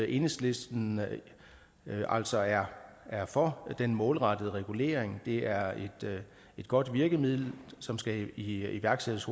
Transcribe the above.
enhedslisten altså er er for den målrettede regulering det er et godt virkemiddel som skal iværksættes